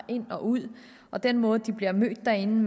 ind og ud og den måde de bliver mødt derinde